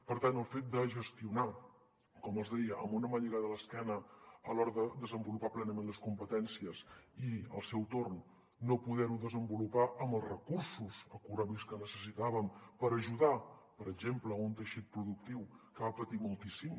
per tant el fet de gestionar com els deia amb una mà lligada a l’esquena a l’hora de desenvolupar plenament les competències i al seu torn no poder ho desenvolupar amb els recursos econòmics que necessitàvem per ajudar per exemple un teixit productiu que va patir moltíssim